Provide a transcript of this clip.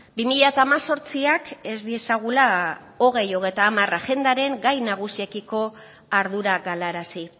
bi mila hemezortziak ez diezagula bi mila hogeita hamar agendaren gai nagusiekiko ardura galarazi